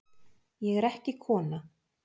Ég er ekki kona